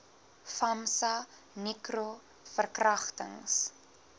famsa nicro verkragtings